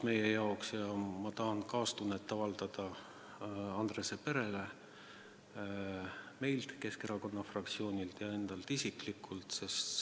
Ma tahan avaldada kaastunnet Andrese perele Keskerakonna fraktsiooni ja enda nimel isiklikult.